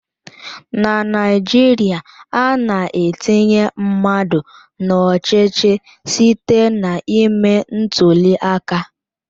Na Naijiria, ana-etinye mmadụ n'ọchịchị site na ime ntuli aka.